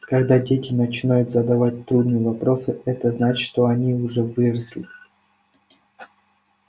когда дети начинают задавать трудные вопросы это значит что они уже выросли